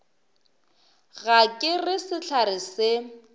ga ke re sehlare se